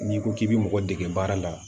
N'i ko k'i bɛ mɔgɔ dege baara la